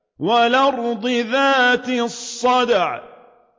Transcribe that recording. وَالْأَرْضِ ذَاتِ الصَّدْعِ